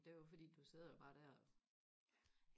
det er jo fordi du sidder jo bare der